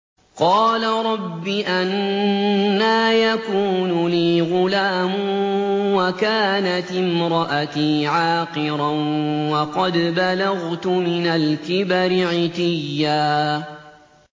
قَالَ رَبِّ أَنَّىٰ يَكُونُ لِي غُلَامٌ وَكَانَتِ امْرَأَتِي عَاقِرًا وَقَدْ بَلَغْتُ مِنَ الْكِبَرِ عِتِيًّا